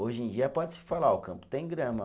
Hoje em dia pode-se falar, o campo tem grama.